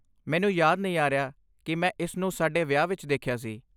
ਮੈਨੂੰ ਯਾਦ ਨਹੀਂ ਆ ਰਿਹਾ ਕਿ ਮੈਂ ਇਸ ਨੂੰ ਸਾਡੇ ਵਿਆਹ ਵਿੱਚ ਦੇਖਿਆ ਸੀ।